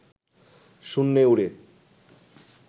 শূন্যে উড়ে